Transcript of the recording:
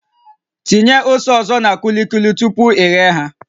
Tinye ose ọzọ na kulikuli tupu i ghee ha